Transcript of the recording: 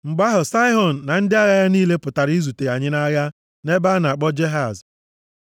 Mgbe Saịhọn na ndị agha ya niile pụtara izute anyị nʼagha nʼebe a na-akpọ Jehaz,